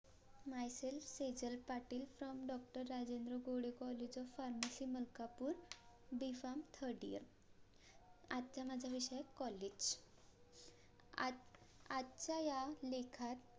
MY SELF Sejal Patil FROM DOCTOR Rajendra Gode COLLAGE OF PHARMACY Malkapur B PHARM THIRD YEAR आजचा माझा विषय आहे COLLAGE आज आजच्या या लेखात